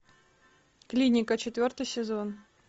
клиника четвертый сезон